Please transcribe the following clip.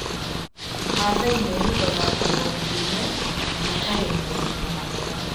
Maathai mehumbaga nguo ndune na makegemia na mathaga.